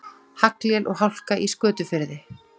Haglél og hálka í Skötufirði